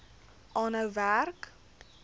aanhou werk